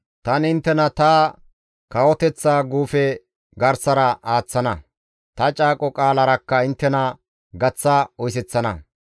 Tani inttena ta kawoteththa guufe garsara aaththana; ta caaqo qaalarakka inttena gaththa oyseththana